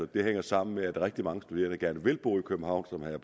det hænger sammen med at rigtig mange studerende gerne vil bo i københavn som herre